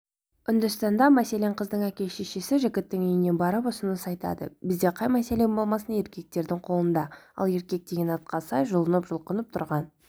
үндістанда мәселен қыздың әке-шешесі жігіттің үйіне барып ұсыныс айтады біздеқай мәселе болмасын еркектердің қолында ал еркек деген атқа сай жұлынып-жұлқынып тұрған